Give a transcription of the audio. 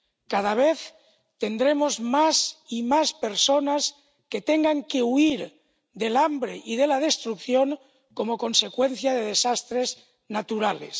Cada vez tendremos más y más personas que tengan que huir del hambre y de la destrucción como consecuencia de desastres naturales.